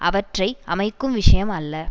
அவற்றை அமைக்கும் விஷயம் அல்ல